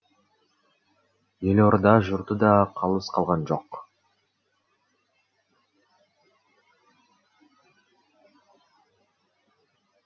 елорда жұрты да қалыс қалған жоқ